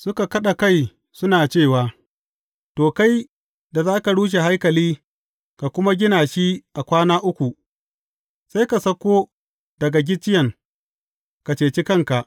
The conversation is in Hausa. Suka kaɗa kai suna cewa, To, kai da za ka rushe haikali ka kuma gina shi a kwana uku, sai ka sauko daga gicciyen, ka ceci kanka!